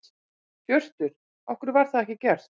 Hjörtur: Af hverju var það ekki gert?